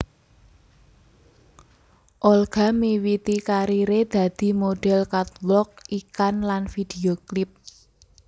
Olga miwiti kariré dadi modhél catwalk iklan lan video klip